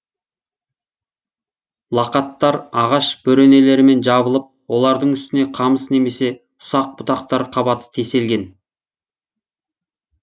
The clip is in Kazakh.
лақаттар ағаш бөренелерімен жабылып олардың үстіне қамыс немесе ұсақ бұтақтар қабаты теселген